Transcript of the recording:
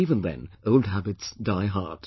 But even then, old habits die hard